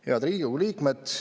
Head Riigikogu liikmed!